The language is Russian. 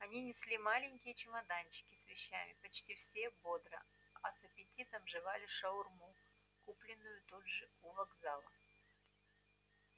они несли маленькие чемоданчики с вещами почти все бодро а с аппетитом жевали шаурму купленную тут же у вокзала